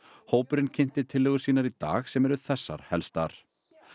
hópurinn kynnti tillögur sínar í dag sem eru þessar helstar